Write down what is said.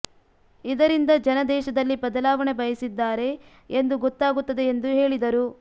ಇದರಿಂದ ಜನ ದೇಶದಲ್ಲಿ ಬದಲಾವಣೆ ಬಯಸಿದ್ದಾರೆ ಎಂದು ಗೊತ್ತಾಗುತ್ತದೆ ಎಂದು ಹೇಳಿದರು